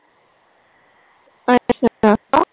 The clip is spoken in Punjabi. ਅੱਛਾ